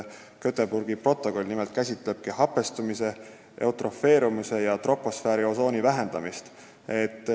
Göteborgi protokoll nimelt käsitleb hapestumise, eutrofeerumise ja troposfääriosooni vähendamist.